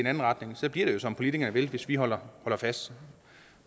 anden retning så bliver det jo som politikerne vil hvis vi holder fast